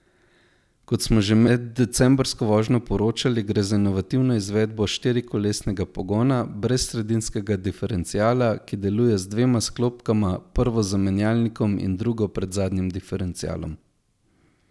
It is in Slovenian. Kot smo že med decembrsko vožnjo poročali, gre za inovativno izvedbo štirikolesnega pogona brez sredinskega diferenciala, ki deluje z dvema sklopkama, prvo za menjalnikom in drugo pred zadnjim diferencialom.